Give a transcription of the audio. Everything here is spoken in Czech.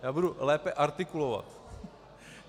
Já budu lépe artikulovat.